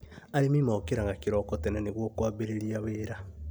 Arĩmi mokĩraga kĩroko tene nĩguo kwambĩrĩria wĩra